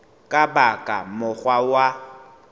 ka ba ka mokgwa wa